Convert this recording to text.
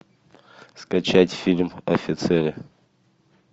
скачать фильм офицеры